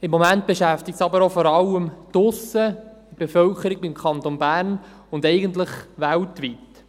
Im Moment beschäftigen sie aber vor allem auch draussen die Bevölkerung des Kantons Bern und eigentlich weltweit.